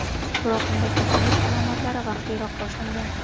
Biroq unda kasallik alomatlari vaqtliroq boshlangan.